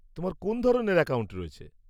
তোমার কোন ধরনের অ্যাকাউন্ট রয়েছে?